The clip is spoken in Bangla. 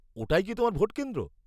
ওটাই কি তোমার ভোট কেন্দ্র?